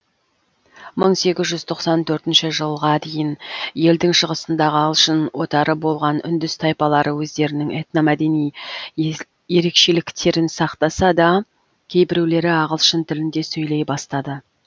мың сегіз жүз тоқсан төртінші жылға дейін елдің шығысындағы ағылшын отары болған үндіс тайпалары өздерінің этномәдени ерекшеліктерін сақтаса да кейбіреулері ағылшын тілінде сөйлей бастады